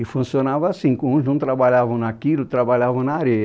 E funcionava assim, uns não trabalhavam naquilo, trabalhavam na areia.